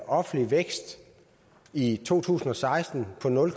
offentlig vækst i to tusind og seksten på nul